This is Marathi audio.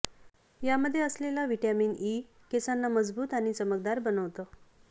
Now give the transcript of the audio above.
यामध्ये असलेलं विटॅमिन ई केसांना मजबूत आणि चमकदार बनवतं